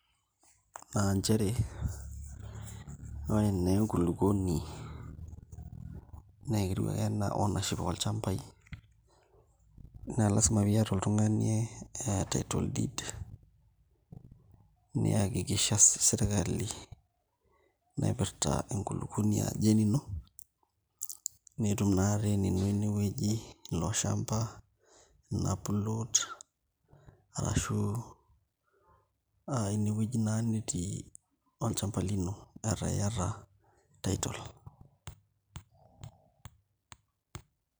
Naa nchere ore naa enkulukuoni naa ketiu ake enaa ownership olchambaai naa lasima pee iata oltung'ani title deed niakikisha sirkali naipirta enkulukuoni ajo enino netum naa ataa enino ine wueji ilo shamba, ina plot arashu inewueji naa netii olchamba lino etaa iata title.